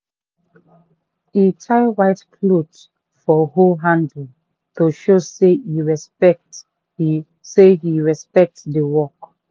he tie white cloth for hoe handle to show say he respect say he respect the work.